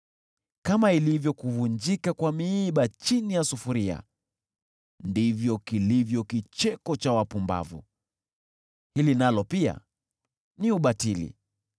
Kama ilivyo kuvunjika kwa miiba chini ya sufuria, ndivyo kilivyo kicheko cha wapumbavu. Hili nalo pia ni ubatili.